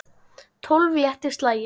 Tólf léttir slagir.